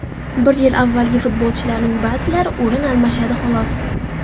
Bir yil avvalgi futbolchilarning ba’zilari o‘rin almashadi, xolos.